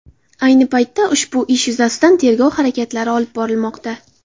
Ayni paytda ushbu ish yuzasidan tergov harakatlari olib borilmoqda.